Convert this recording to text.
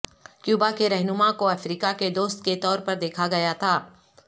Cuba کے رہنما کو افریقہ کے دوست کے طور پر دیکھا گیا تھا